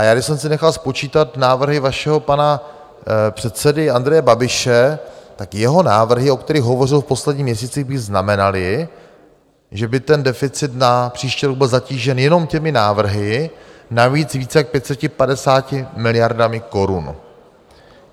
A já, když jsem si nechal spočítat návrhy vašeho pana předsedy Andreje Babiše, tak jeho návrhy, o kterých hovořil v posledních měsících, by znamenaly, že by ten deficit na příští rok byl zatížen jenom těmi návrhy navíc víc jak 550 miliardami korun.